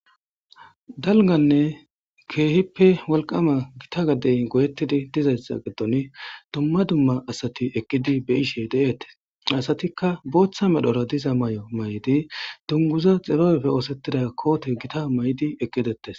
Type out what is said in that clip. Dalganne keehippe wolqqama gita gaden goyetidii bettizayssa giddon dumma dumma asati aqidi be'ishe dettes asatikka boththa medhora dizaayo mayidii dunguzo xibabeppe oosetida kootte giitta mayidii eeqidettes